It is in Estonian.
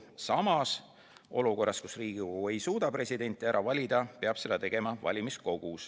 Samas, olukorras, kus Riigikogu ei suuda presidenti ära valida, peab seda tegema valimiskogu.